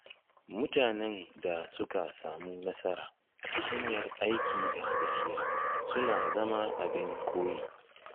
Mutanen da suka samu nasara ta hanyar aiki da gaskiya suna zama abin koyi